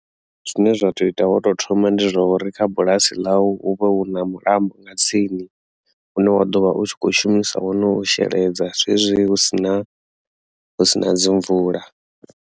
Zwine zwa tea u ita lwa u to thoma ndi zwa uri kha bulasi ḽau hu vha hu na mulambo nga tsini une wa ḓovha u tshi kho shumisa wone u sheledza zwezwi husina husina dzi mvula.